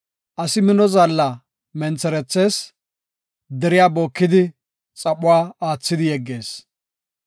Asi mino zaalla mentherethees; deriya bookidi xaphuwape aathidi yeggees.